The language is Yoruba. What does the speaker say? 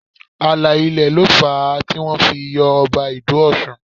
Ààlà ilẹ̀ ló fà á tí wọ́n fi yọ Ọba Ido Ọ̀ṣun